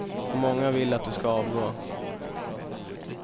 Och många vill att du ska avgå.